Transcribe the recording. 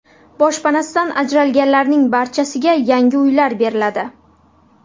Boshpanasidan ajralganlarning barchasiga yangi uylar beriladi.